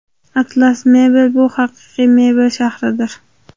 Atlas Mebel – bu haqiqiy mebel shahridir.